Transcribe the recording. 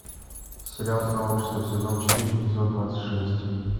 сериал сообщество сезон четыре эпизод двадцать шесть